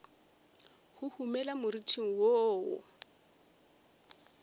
huhumela ka moriting wo wo